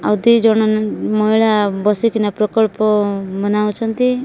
ଆଉ ଦି ଜଣ ନ୍ ମହିଳା ବସିକିନା ପ୍ରକଳ୍ପ ମନାଉଛନ୍ତି ।